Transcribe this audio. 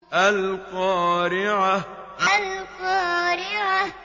الْقَارِعَةُ الْقَارِعَةُ